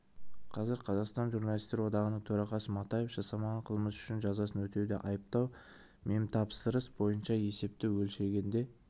қазір қазақстан журналистер одағының төрағасы матаев жасамаған қылмысы үшін жазасын өтеуде айыптау мемтапсырыс бойынша есепті өлшегенде